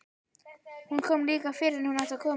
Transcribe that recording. Hún kom líka fyrr en hún átti að koma.